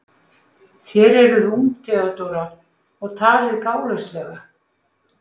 Þér eruð ung, Theodóra, og talið gálauslega.